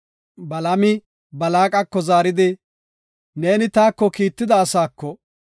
Balaami Balaaqako zaaridi, “Neeni taako kiitida asaako,